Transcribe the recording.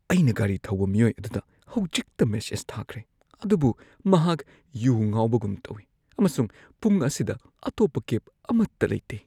ꯑꯩꯅ ꯒꯥꯔꯤ ꯊꯧꯕ ꯃꯤꯑꯣꯏ ꯑꯗꯨꯗ ꯍꯧꯖꯤꯛꯇ ꯃꯦꯁꯦꯖ ꯊꯥꯈ꯭ꯔꯦ ꯑꯗꯨꯕꯨ ꯃꯍꯥꯛ ꯌꯨ ꯉꯥꯎꯕꯒꯨꯝ ꯇꯧꯋꯤ ꯑꯃꯁꯨꯡ ꯄꯨꯡ ꯑꯁꯤꯗ ꯑꯇꯣꯞꯄ ꯀꯦꯕ ꯑꯃꯠꯇ ꯂꯩꯇꯦ꯫